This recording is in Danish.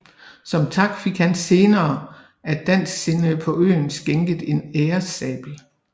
Som tak fik han senere af dansksindede på øerne skænket en æresabel